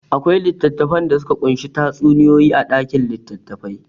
Akwai littattafai da suka ƙunshi tatsuniyoyi a ɗakin litattafai.